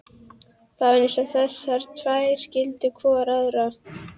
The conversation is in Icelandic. Það var eins og þessar tvær skildu hvor aðra.